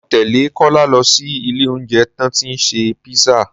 Mọ tẹ́lẹ̀ Kọ́lá lọ sí ilé oúnjẹ tán tí ṣe písà